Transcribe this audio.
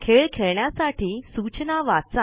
खेळ खेळण्यासाठी सूचना वाचा